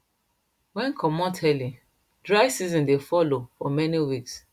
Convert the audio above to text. wen comot early dry seasons dey follow for many weeks